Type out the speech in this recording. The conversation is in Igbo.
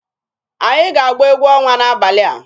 Anyị ga-agba egwu ọnwa n'abalị a.